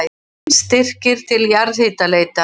Fimm styrkir til jarðhitaleitar